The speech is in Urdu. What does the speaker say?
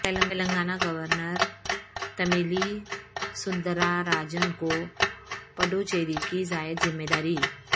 تلنگانہ گورنر تمیلی سوندراراجن کو پڈوچیری کی زائد ذمہ داری